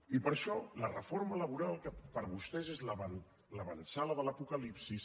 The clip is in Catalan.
i per això la reforma laboral que per vostès és l’avançada de l’apocalipsi